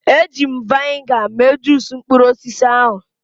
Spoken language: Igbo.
Eji m vịnịga mee juusu mkpụrụ osisi ahụ.